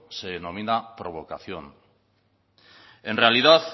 se denomina provocación en realidad